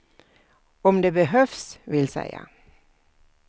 Om det behövs, vill säga.